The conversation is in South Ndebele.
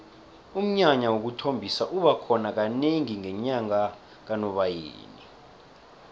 umnyanya wokuthombisa uba khona kanengi ngenyanga kanobayeni